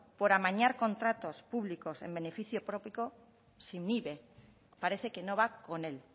por amañar contratos públicos en beneficio propio se inhibe parece que no va con el